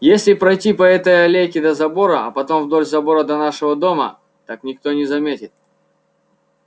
если пройти по этой аллейке до забора а потом вдоль забора до нашего дома так никто и не заметит